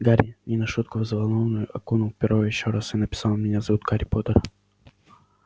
гарри не на шутку взволнованный окунул перо ещё раз и написал меня зовут гарри поттер